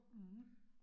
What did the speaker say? Mh